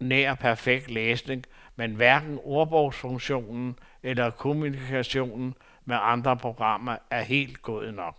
nær perfekt læsning, men hverken ordbogsfunktionen eller kommunikationen med andre programmer er helt god nok.